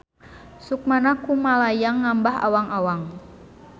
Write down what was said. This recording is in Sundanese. Sukmana kumalayang ngambah awang-awang.